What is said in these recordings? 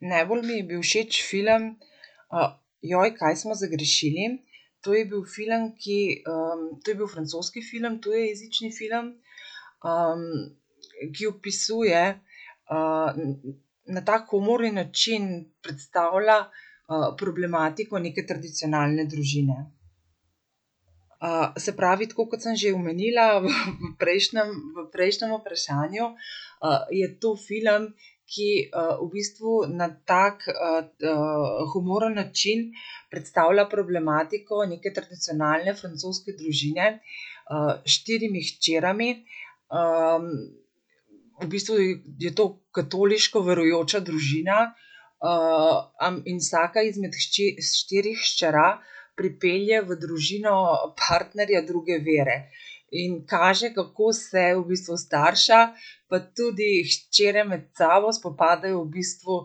najbolj mi je bil všeč film, kaj smo zagrešili. To je bil film, ki, to je bil francoski film, tujejezični film. ki opisuje, na tak humorni način predstavlja, problematiko neke tradicionalne družine. se pravi, tako kot sem že omenila v prejšnjem, v prejšnjem vprašanju, je to film, ki, v bistvu na tak, humoren način predstavlja problematiko neke tradicionalne francoske družine, s štirimi hčerami, v bistvu je to katoliško verujoča družina, in vsaka izmed štirih hčera pripelje v družino partnerja druge vere. In kaže, kako se v bistvu starša pa tudi hčere med sabo spopadajo v bistvu,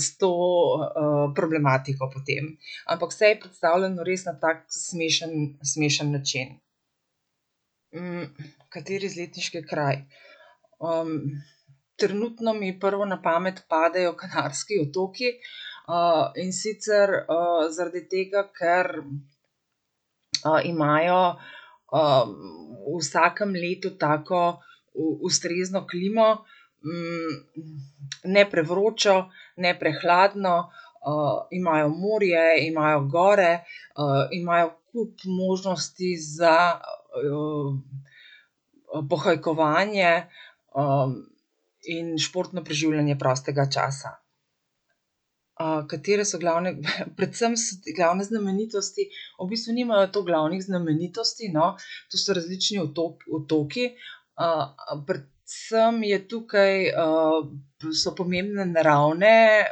s to, problematiko potem. Ampak vse je predstavljeno res na tako smešen, smešen način. kateri izletniški kraj? trenutno mi prvo na pamet padejo Kanarski otoki, in sicer zaradi tega, ker, imajo, v vsakem letu tako, ustrezno klimo, ne prevročo, ne prehladno. imajo morje, imajo gore, imajo kup možnosti za, pohajkovanje, in športno preživljanje prostega časa. katere so glavne, predvsem glavne znamenitosti? V bistvu nimajo toliko glavnih znamenitosti, no, to so različni otoki, predvsem je tukaj, so pomembne naravne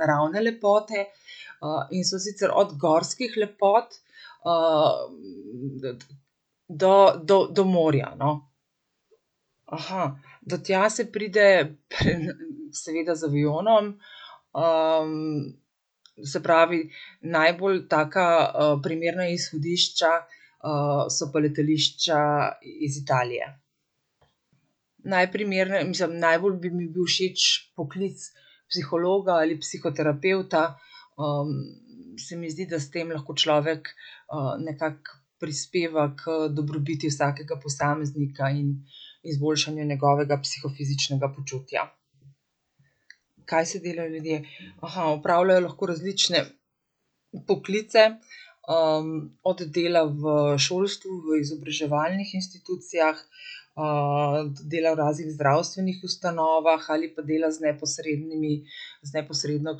naravne lepote, in so sicer od gorskih lepot, do, do, do morja, no. do tja se pride, seveda z avionom. se pravi najbolj taka, primerna izhodišča, so pa letališča iz Italije. mislim najbolj bi mi bil všeč poklic psihologa ali psihoterapevta. se mi zdi, da s tem lahko človek, nekako prispeva k dobrobiti vsakega posameznika in izboljšanje njegovega psihofizičnega počutja. Kaj so delali ljudje? opravljajo lahko različne poklice, od dela v šolstvu, v izobraževalnih institucijah, do dela v raznih zdravstvenih ustanovah ali pa dela z neposrednimi, z neposredno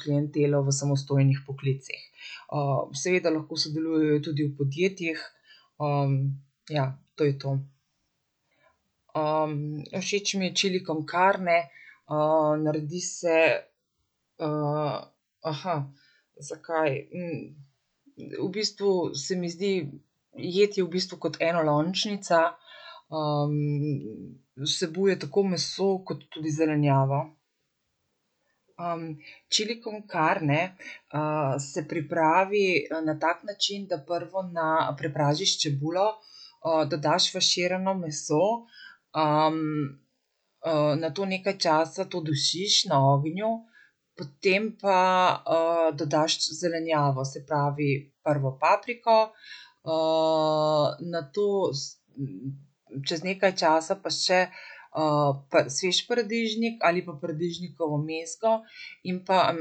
klientelo v samostojnih poklicih. seveda lahko sodelujejo tudi v podjetjih, ja, to je to. všeč mi je chili con carne. naredi se, zakaj? v bistvu se mi zdi, jed je v bistvu kot enolončnica, vsebuje tako meso kot tudi zelenjavo. chili con carne, se pripravi, na tak način, da prvo na prepražiš čebulo, dodaš faširano meso, nato nekaj časa to dušiš na ognju, potem pa, dodaš zelenjavo. Se pravi, prvo papriko, nato, čez nekaj časa pa še, svež paradižnik ali pa paradižnikovo mezgo in pa,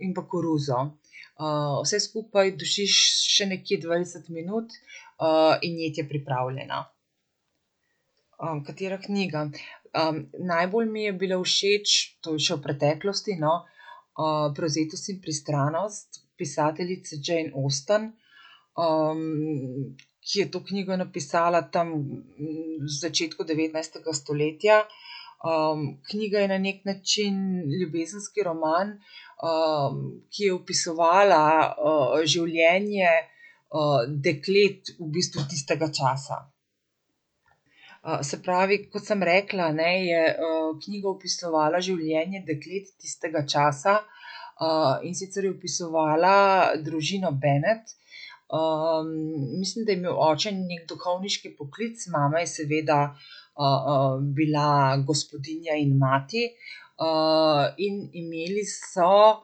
in pa koruzo. vse skupaj dušiš še nekje dvajset minut, in jed je pripravljena. katera knjiga? najbolj mi je bila všeč, to je še v preteklosti, no, Prevzetost in pristranost. Pisateljice Jane Austen. ki je to knjigo napisala tam, v začetku devetnajstega stoletja. knjiga je na neki način ljubezenski roman, ki je opisovala, življenje, deklet v bistvu tistega časa. se pravi, kot sem rekla, ne, je, knjiga opisovala življenje deklet tistega časa, in sicer je opisovala družino Bennet, mislim, da je imel oče neki duhovniški poklic, mama je seveda, bila gospodinja in mati. in imeli so,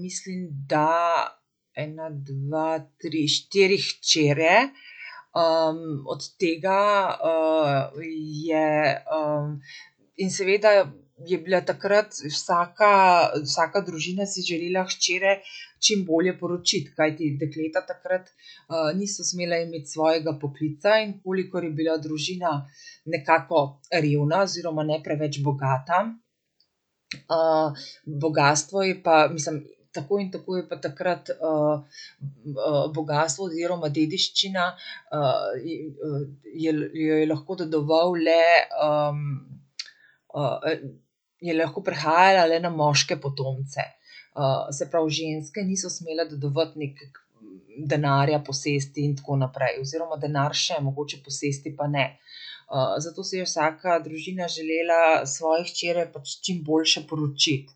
mislim, da ena, dva, tri, štiri hčere. od tega, je, in seveda je bila takrat vsaka, vsaka družina si je želela hčere čim bolje poročiti, kajti dekleta takrat, niso smele imeti svojega poklica, in kolikor je bila družina nekako revna oziroma ne preveč bogata, bogastvo je pa, mislim, tako in tako je pa takrat, bogastvo oziroma dediščina, jo jo je lahko dedoval le, je lahko prehajala le na moške potomce. se pravi, ženske niso smele dedovati nekaj denarja, posesti in tako naprej. Oziroma denar še mogoče, posesti pa ne. zato si je vsaka družina želela svoje hčere pač čim boljše poročiti.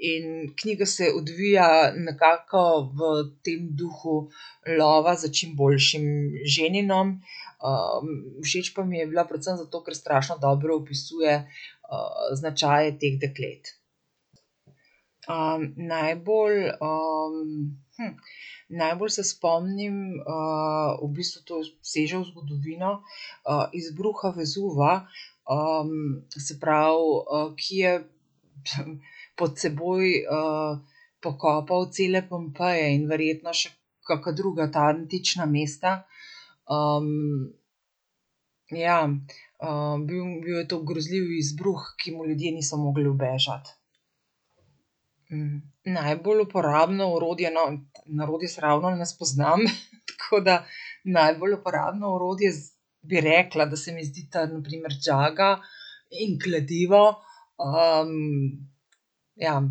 in knjiga se odvija nekako v tem duhu lova za čim boljšim ženinom, všeč pa mi je bila predvsem zato, ker strašno dobro opisuje, značaje teh deklet. najbolj, Najbolj se spomnim, v bistvu to seže v zgodovino, izbruha Vezuva, se pravi, ki je pod seboj, pokopal cele Pompeje in verjetno še kaka druga ta antična mesta, ja. bil, bil je to grozljiv izbruh, ki mu ljudje niso mogli ubežati. najbolj uporabno orodje, no, na orodje se ravno ne spoznam, tako da najbolj uporabno orodje za, bi rekla, da se mi zdita na primer žaga in kladivo. ja,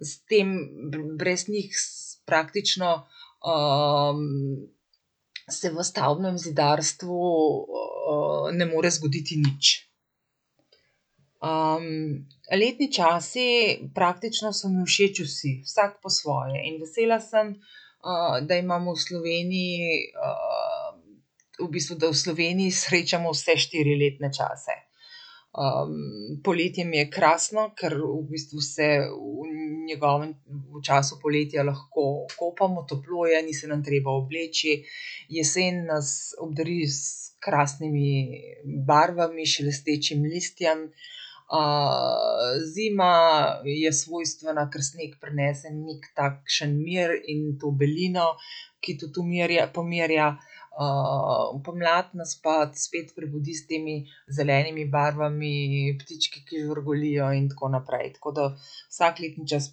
s tem brez njih praktično, se v stavbnem zidarstvu, ne more zgoditi nič. letni časi praktično so mi všeč vsi, vsak po svoje, in vesela sem, da imamo v Sloveniji, v bistvu, da v Sloveniji srečamo vse štiri letne čase. poletje mi je krasno, ker v bistvu se v njegovem, v času poletja lahko kopamo, toplo je, ni se nam treba obleči. Jesen nas obdari s krasnimi barvami, s šelestečim listjem. zima je svojstvena, ker sneg prinese neki takšen mir in to belino, ki tudi pomirja. pomlad nas pa spet prebudi s temi zelenimi barvami, ptički, ki žvrgolijo, in tako naprej, tako da vsak letni čas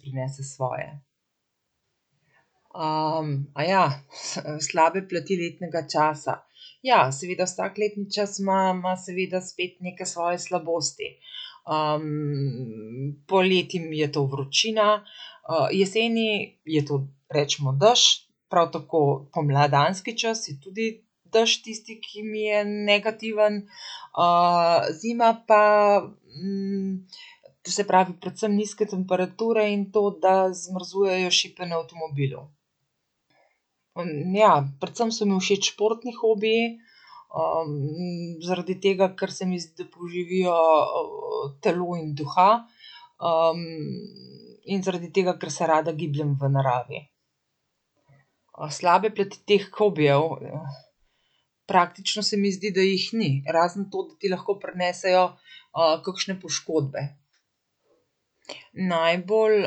prinese svoje. slabe plati letnega časa. Ja, seveda vsak letni čas ima, ima seveda spet neke svoje slabosti. poleti mi je to vročina, jeseni je to recimo dež. Prav tako pomladanski čas je tudi dež tisti, ki mi je negativen. zima pa, se pravi, predvsem nizke temperature in to, da zmrzujejo šipe na avtomobilu. ja, predvsem so mi všeč športni hobiji, zaradi tega, ker se mi zdi, da poživijo, telo in duha. in zaradi tega, ker se rada gibljem v naravi. slabe plati teh hobijev? Praktično se mi zdi, da jih ni. Razen to, da ti lahko prinesejo, kakšne poškodbe. Najbolj,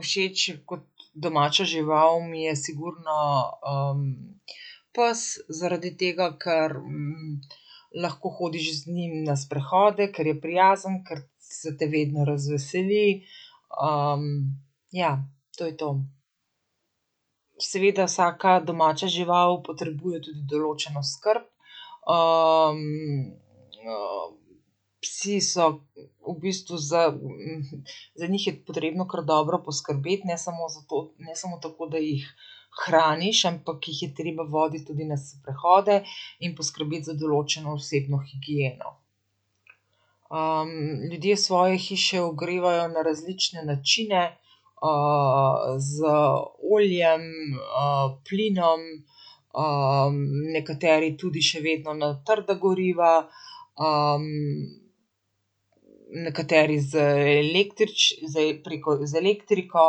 všeč kot domača žival mi je sigurno, pes, zaradi tega ker, lahko hodiš z njim na sprehode, ker je prijazen, ker se te vedno razveseli. ja, to je to. Seveda vsaka domača žival potrebuje tudi določno skrb. psi so v bistvu za, za njih je potrebno kar dobro poskrbeti, ne samo zato, ne samo tako, da jih hraniš, ampak jih je treba voditi tudi na sprehode in poskrbeti za določeno osebno higieno. ljudje svoje hiše ogrevajo na različne načine. z oljem, plinom, nekateri tudi še vedno na trda goriva. nekateri z z, preko z elektriko.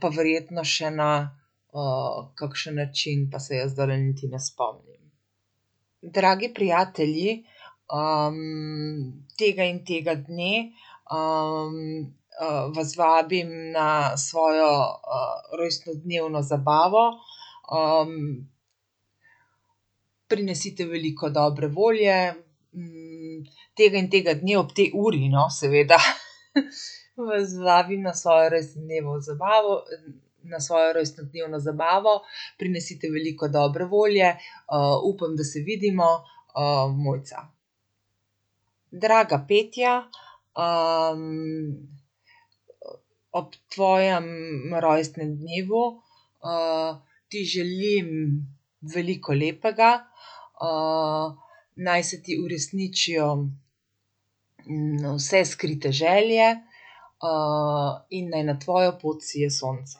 pa verjetno še na, kakšen način pa se jaz zdajle niti ne spomnim. Dragi prijatelji, tega in tega dne, vas vabim na svojo, rojstnodnevno zabavo. prinesite veliko dobre volje, tega in tega dne ob tej uri, no, seveda. Vas vabim na svojo rojstnodnevno zabavo, na rojstnodnevno zabavo prinesite veliko dobre volje. upam, da se vidimo, Mojca. Draga Petja, ob tvojem rojstnem dnevu, ti želim veliko lepega, naj se ti uresničijo, vse skrite želje, in naj na tvojo pot sije sonce.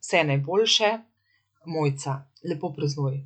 Vse najboljše, Mojca. Lepo praznuj.